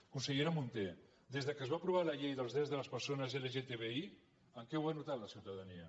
consellera munté des que es va aprovar la llei dels drets de les persones lgtbi en què ho ha notat la ciutadania